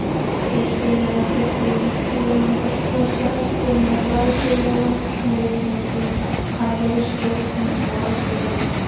Þeir félagar fjölluðu ýtarlega um íslenska hestinn með glæsilegum litmyndum af reiðskjótum og riddurum.